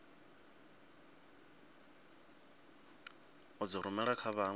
u dzi rumela kha vhanwe